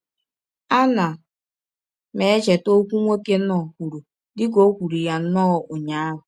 Ana m echeta ọkwụ nwoke Knorr kwuru dị ka ò kwụrụ ya nnọọ ụnyaahụ.